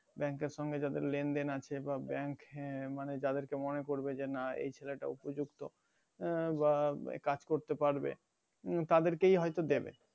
bank এর যাদের যেন দেন আছে